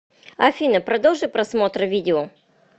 афина продолжи просмотр видео